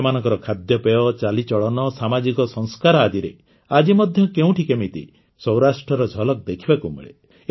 ସେମାନଙ୍କର ଖାଦ୍ୟପେୟ ଚାଲିଚଳନ ସାମାଜିକ ସଂସ୍କାର ଆଦିରେ ଆଜି ମଧ୍ୟ କେଉଁଠି କେମିତି ସୌରାଷ୍ଟ୍ରର ଝଲକ ଦେଖିବାକୁ ମିଳେ